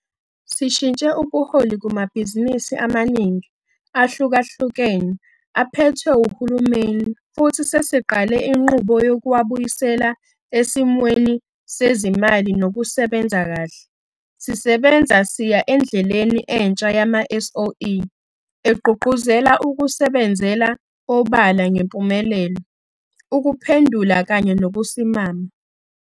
Sishintshe ubuholi kumabhizinisi amaningi ahlukahlukene aphethwe uhulumeni, futhi sesiqale inqubo yokuwabuyisela esimweni sezimali nokusebenza kahle. Sisebenza siya endleleni entsha yama-SOE egqugquzela ukusebenzela obala ngempumelelo, ukuphendula kanye nokusimama.